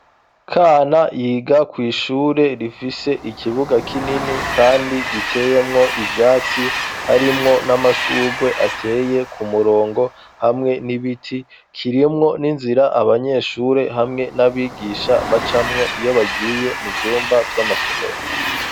Kana yiga kwishure rifise ikibuga kinini kandi giteyemwo ivyatsi harimwo n'amashugwe ateye ku murongo hamwe n'ibiti kirimwo n'inzira abanyeshure hamwe n'abigisha bacamwo iyo bagiye mu vyumba vy'amasomero.